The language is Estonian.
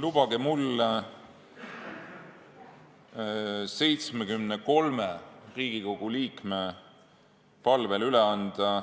Lubage mul 73 Riigikogu liikme palvel üle anda